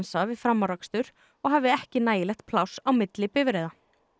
við framúrakstur og hafi ekki nægilegt pláss á milli bifreiða